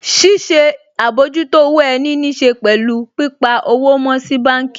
Ṣíṣe àbójútó owó ẹni níṣe pẹ̀lú pípa owó mọ́ sí báànkì